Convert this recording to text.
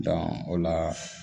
o la